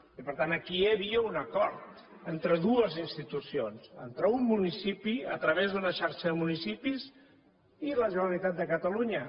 i per tant aquí hi havia un acord entre dues institucions entre un municipi a través d’una xarxa de municipis i la generalitat de catalunya